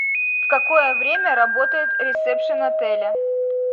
в какое время работает ресепшен отеля